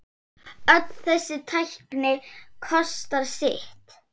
Öll þessi tækni kostar sitt.